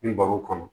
N baro kɔnɔ